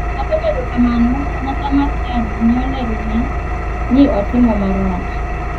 Kata obedo kamano, kanyakla mar chadi ne olerone ni otimo marach.